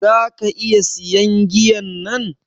Zaka iƴa siyan giyan nan?